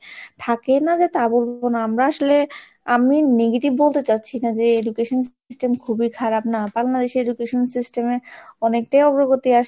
থাকে না যে তা বলবো না, আমরা আসলে আমি negative বলতে চাচ্ছি না যে education system খুবই খারাপ না, বাংলাদেশী education system এ অনেকটাই অগ্রগতি আসছে,